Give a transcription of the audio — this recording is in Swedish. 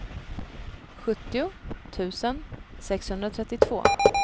sjuttio tusen sexhundratrettiotvå